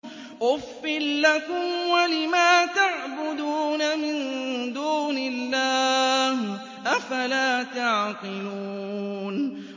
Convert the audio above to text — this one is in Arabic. أُفٍّ لَّكُمْ وَلِمَا تَعْبُدُونَ مِن دُونِ اللَّهِ ۖ أَفَلَا تَعْقِلُونَ